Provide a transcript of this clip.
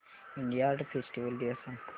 India art festival दिवस सांग